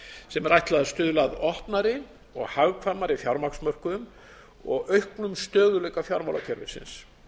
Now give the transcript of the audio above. sem er ætlað að stuðla að opnari og hagkvæmari fjármagnsmörkuðum og auknum stöðugleika fjármálakerfisins